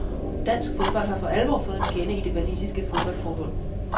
Dansk fodbold har for alvor fået en fjende i det walisiske fodboldforbund.